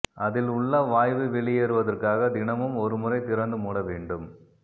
அதில் உள்ள வாய்வு வெளியேறுவதற்காக தினமும் ஒருமுறை திறந்து மூட வேண்டும்